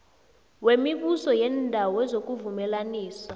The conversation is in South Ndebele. wemibuso yeendawo wezokuvumelanisa